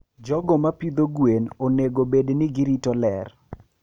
jogo mapidho gwen onego obed ni girito ler.